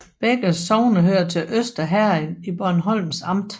Begge sogne hørte til Øster Herred i Bornholms Amt